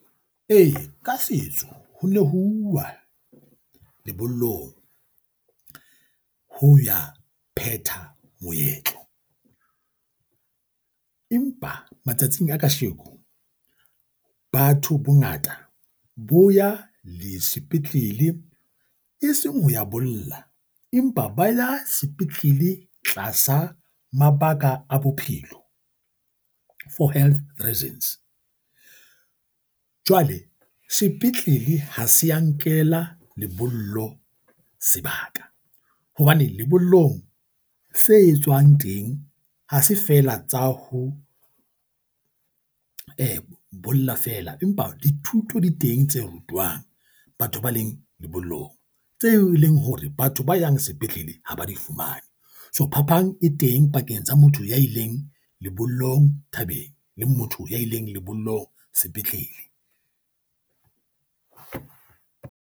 Ee, ka setso ho ne ho uwa lebollong ho ya phethwa moetlo, empa matsatsing a kasheko batho bongata bo ya le sepetlele. E seng ho ya bolla, empa ba ya sepetlele tlasa mabaka a bophelo. For Health reasons. Jwale sepetlele ha se ya nkela lebollo sebaka hobane lebollong se etswang teng ha se feela tsa ho bolla fela, empa dithuto di teng tse rutwang batho ba leng lebollong. Tseo e leng hore batho ba yang sepetlele ha ba di fumane. So phapang e teng pakeng tsa motho ya ileng lebollong thabeng, le motho ya ileng lebollong sepetlele.